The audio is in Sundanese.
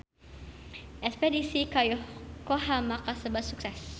Espedisi ka Yokohama kasebat sukses